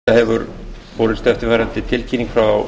forseta hefur borist eftirfarandi tilkynning frá